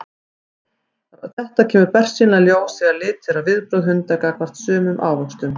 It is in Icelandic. Þetta kemur bersýnilega í ljós þegar litið er á viðbrögð hunda gagnvart sumum ávöxtum.